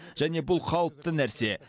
және бұл қалыпты нәрсе